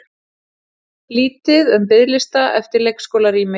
Lítið um biðlista eftir leikskólarými